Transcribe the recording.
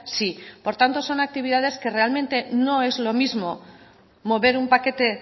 sí por tanto son actividades que realmente no es lo mismo mover un paquete